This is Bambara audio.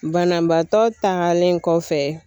Banabaatɔ tagalen kɔfɛ